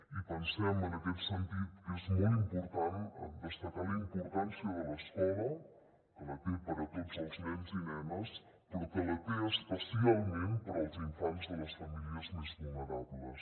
i pensem en aquest sentit que és molt important destacar la importància de l’escola que la té per a tots els nens i nenes però que la té especialment per als infants de les famílies més vulnerables